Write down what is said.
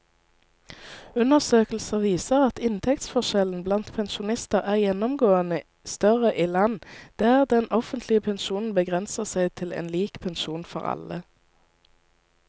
Undersøkelser viser at inntektsforskjellene blant pensjonister er gjennomgående større i land der den offentlige pensjonen begrenser seg til en lik pensjon for alle.